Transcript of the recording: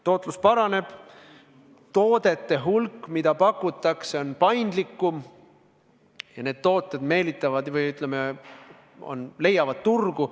Tootlus paraneb, toodete hulk, mida pakutakse, on suurem ja need tooted on paindlikumad ja meelitavad ligi või ütleme, leiavad turgu.